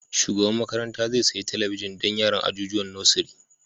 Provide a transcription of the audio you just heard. Shugaban makaranta zai sayi talabijin don yaran ajijuwan nosiri